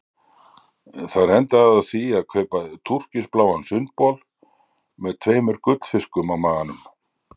Þar endaði ég á því að kaupa túrkisbláan sundbol með tveimur gullfiskum á maganum.